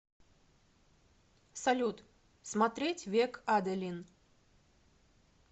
салют смотреть век аделин